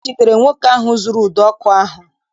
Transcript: E jidere nwoke ahụ zuuru ụdọ ọkụ ahụ